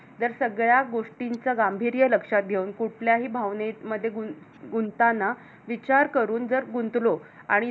जर सगळ्या गोष्टीचं गांभीर्य लक्षात घेऊन कुठल्याही भावनेमध्ये गुंताना विचार करून जर गुंतलो आणि जर